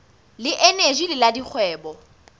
le eneji le la dikgwebo